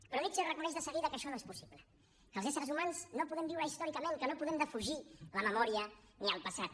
però nietzsche reconeix de seguida que això no és possible que els éssers humans no podem viure ahistòricament que no podem defugir la memòria ni el passat